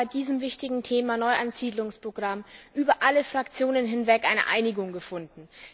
Wir haben bei diesem wichtigen Thema Neueinsiedlungsprogramm über alle Fraktionen hinweg eine Einigung gefunden.